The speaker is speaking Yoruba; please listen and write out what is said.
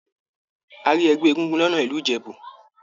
A rí ẹgbẹ egúngún lọnà ìlú Ìjẹ̀bú